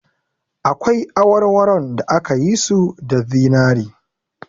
Akwai awarwaron da aka yi su da zinari